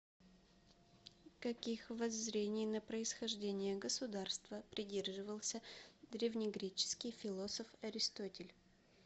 каких воззрений на происхождение государства придерживался древнегреческий философ аристотель